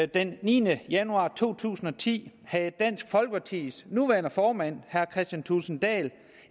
den niende januar to tusind og ti havde dansk folkepartis nuværende formand herre kristian thulesen dahl